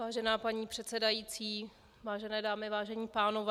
Vážená paní předsedající, vážené dámy, vážení pánové.